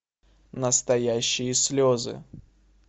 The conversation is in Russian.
настоящие слезы